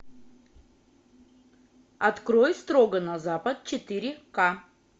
открой строго на запад четыре ка